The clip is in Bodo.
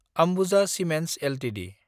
Ambuja cements Ltd